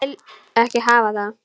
Ég vil ekki hafa það.